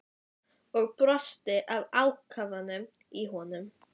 Og brosti að ákafanum í honum.